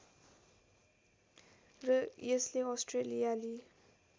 र यसले अस्ट्रेलियाली